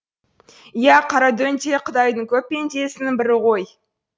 иә қарадөң де құдайдың көп пендесінің бірі ғой